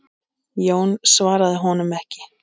Jón svaraði honum ekki.